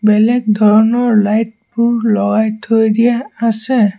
বেলেগ ধৰণৰ লাইট বোৰ লগাই থৈ দিয়া আছে।